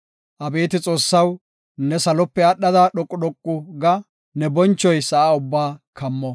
Abeeti Xoossaw, ne salope aadhada dhoqu dhoqu ga; ne bonchoy sa7a ubbaa kammo.